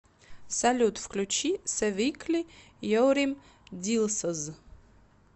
салют включи севикли ерим дилсоз